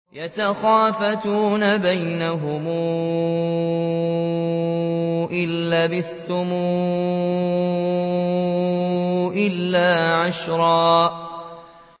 يَتَخَافَتُونَ بَيْنَهُمْ إِن لَّبِثْتُمْ إِلَّا عَشْرًا